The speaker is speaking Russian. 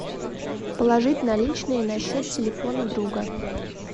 положить наличные на счет телефона друга